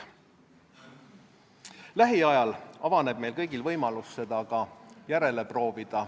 Lähiajal avaneb meil kõigil võimalus seda ise järele proovida.